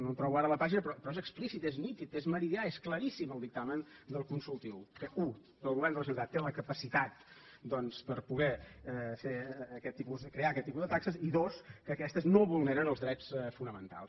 no trobo ara la pàgina però és explícit és nítid és meridià és claríssim el dictamen del consultiu que u el govern de la generalitat té la capacitat doncs per poder crear aquest tipus de taxes i dos que aquestes no vulneren els drets fonamentals